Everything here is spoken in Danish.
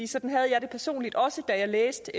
sådan havde jeg det personligt også da jeg læste